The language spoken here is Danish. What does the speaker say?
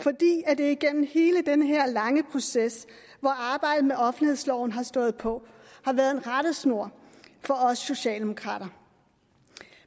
det igennem hele den her lange proces hvor arbejdet med offentlighedsloven har stået på har været en rettesnor for os socialdemokrater